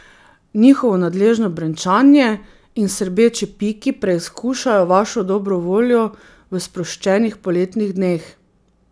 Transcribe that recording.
Njihovo nadležno brenčanje in srbeči piki preizkušajo vašo dobro voljo v sproščenih poletnih dneh.